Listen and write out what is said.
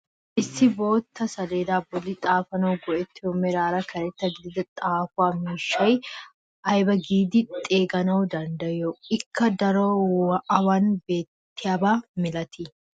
Issi bootta saleeda bolli xaafanawu go"ettiyoo meraara karetta gidida xaafuwaa miishshaa ayba giidi xeeganawu danddayiyoo? ikka darotoo awan beetiyaaba milatii?